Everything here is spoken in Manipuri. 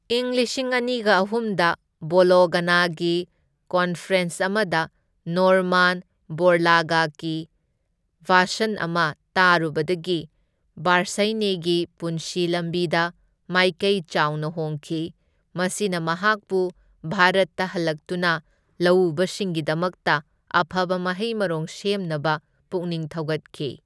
ꯢꯪ ꯂꯤꯁꯤꯡ ꯑꯅꯤꯒ ꯑꯍꯨꯝꯗ ꯕꯣꯂꯣꯒꯅꯥꯒꯤ ꯀꯣꯟꯐꯔꯦꯟꯁ ꯑꯃꯗ ꯅꯣꯔꯃꯥꯟ ꯕꯣꯔꯂꯥꯒꯀꯤ ꯚꯥꯁꯟ ꯑꯃ ꯇꯥꯔꯨꯕꯗꯒꯤ ꯕꯥꯔꯁꯩꯅꯦꯒꯤ ꯄꯨꯟꯁꯤ ꯂꯝꯕꯤꯗ ꯃꯥꯏꯀꯩ ꯆꯥꯎꯅ ꯍꯣꯡꯈꯤ, ꯃꯁꯤꯅ ꯃꯍꯥꯛꯄꯨ ꯚꯥꯔꯠꯇ ꯍꯜꯂꯛꯇꯨꯅ ꯂꯧꯎꯕꯁꯤꯡꯒꯤꯗꯃꯛꯇ ꯑꯐꯕ ꯃꯍꯩ ꯃꯔꯣꯡ ꯁꯦꯝꯅꯕ ꯄꯨꯛꯅꯤꯡ ꯊꯧꯒꯠꯈꯤ꯫